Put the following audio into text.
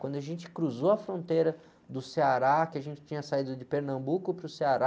Quando a gente cruzou a fronteira do Ceará, que a gente tinha saído de Pernambuco para o Ceará,